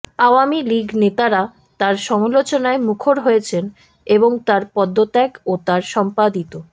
আওয়ামী লীগ নেতারা তাঁর সমালোচনায় মুখর হয়েছেন এবং তাঁর পদত্যাগ ও তাঁর সম্পাদিত